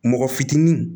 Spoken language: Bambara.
Mɔgɔ fitinin